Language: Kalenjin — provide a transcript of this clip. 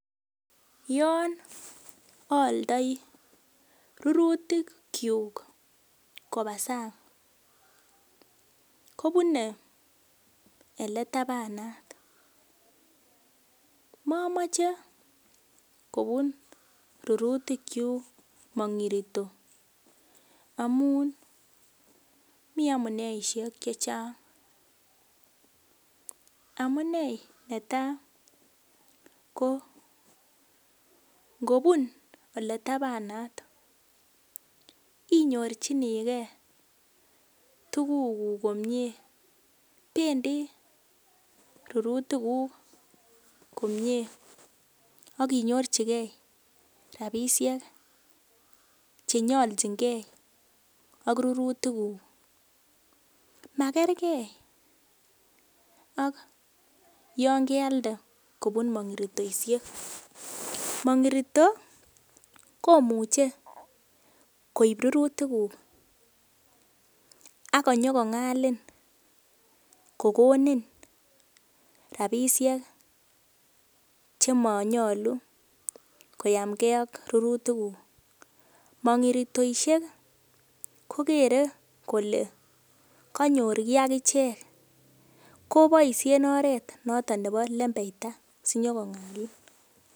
yon aaldoi rurutikyuk kobaa sang kobunee ole tabanat momoche kobun rurutikyuk mong'irito amun mii amuneishek chechang amunee netaa koo ngobun oleitabanat inyorchinigee tuguk komie bendi rurutiguk komie akinyorchike rapisiek chenyolchingee ak rurutiguk ,makerkee ak yan kealde kobun mong'iritoisiek, mang'irito komuche koib rurutiguk akonyokong'alin kokonin rapisiek chemonyolu koyamngee ak rurutiguk ,mang'iritoisiek kokere kole kanyor kii agichek koboisien oret noton nebo lembeita sinyokong'alin.